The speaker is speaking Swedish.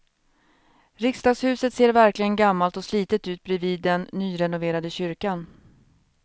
Riksdagshuset ser verkligen gammalt och slitet ut bredvid den nyrenoverade kyrkan.